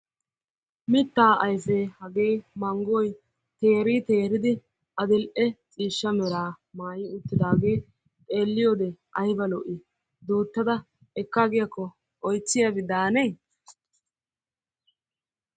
Mittaa ayfee hagee manggoy teeri teriidi adil"e ciishsha meraa maayi uttidaagee xeeliyode ayba lo"i? Duttada ekkaagiyakko oychchiyabi daanne?